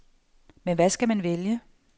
Men hvad skal man vælge?